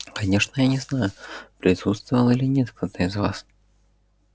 конечно я не знаю присутствовал или нет кто-то из вас